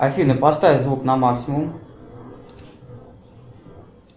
афина поставь звук на максимум